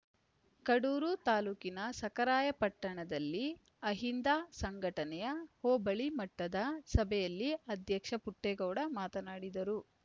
ಕಡೂರು ತಾಲುಕಿನ ಸಖರಾಯಪಟ್ಟಣದಲ್ಲಿ ಅಹಿಂದ ಸಂಘಟನೆಯ ಹೋಬಳಿ ಮಟ್ಟದ ಸಭೆಯಲ್ಲಿ ಅಧ್ಯಕ್ಷ ಪುಟ್ಟೆಗೌಡ ಮಾತನಾಡಿದರು